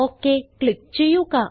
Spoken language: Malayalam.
ഒക് ക്ലിക്ക് ചെയ്യുക